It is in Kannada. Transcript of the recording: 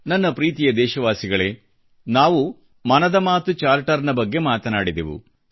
ನನ್ನ ಪ್ರೀತಿಯ ದೇಶವಾಸಿಗಳೇ ನಾವು ಮನದ ಮಾತು ಚಾರ್ಟರ್ನ ಬಗ್ಗೆ ಮಾತನಾಡಿದೆವು